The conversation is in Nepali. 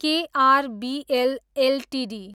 KRBL Ltd